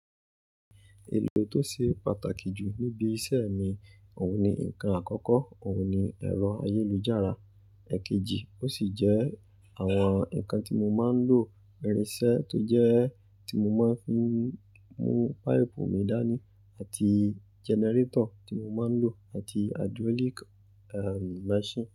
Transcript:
Èlò tó ṣe pàtàkì jù níbi iṣẹ́ mi, òun ni ǹkan àkọ́kọ́, òun ni ẹ̀rọ ayélujára. Èkejì ó sì jẹ́ àwọn ǹkan tí mo máa ń lò irinṣẹ́ tó jẹ́ ti mo máa ń fi mú páìpù mi dání àti jẹnẹrétọ̀ tí mo máa ń lò àti hydraulic, um, machine.